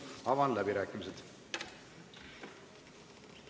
Avan läbirääkimised.